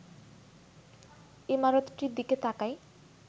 ইমারতটির দিকে তাকাই